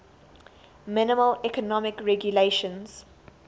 minimal economic regulations